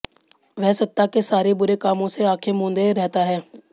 वह सत्ता के सारे बुरे कामों से आंखें मूंदे रहता है